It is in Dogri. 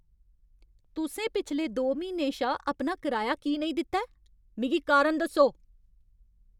तुसें पिछले दो म्हीनें शा अपना किराया की नेईं दित्ता ऐ? मिगी कारण दस्सो।